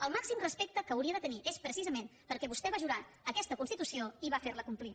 el màxim respecte que hauria de tenir és precisament perquè vostè va jurar aquesta constitució i va jurar fer la complir